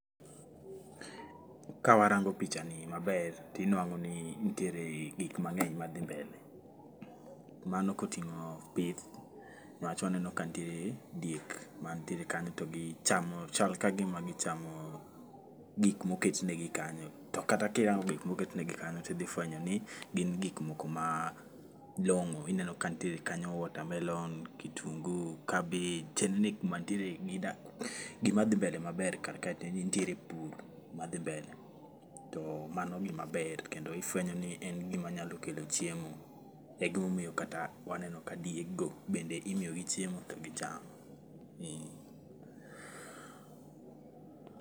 Ka warango pichani maber tinwang'o ni ntiere gikmang'eny madhi mbele. Mano koting'o pith nwach waneno ka ntie diek mantiere kanyo to chal ka gima gichamo gik moketnegi kanyo to kata kirango gik moketnegi kanyo tidhi fwenyo ni gin gikmok malong'o. Ineno ka ntiere kanyo water melon, kitungu, cabbage chal ni gima dhi mbele maber karkae en ni nitiere pur madhi mbele to mano gima ber kendo ifwenyo ni en gima nyalo kelo chiemo e gimomiyo kata waneno ka diego bende imiyigi chiemo to gicham eh.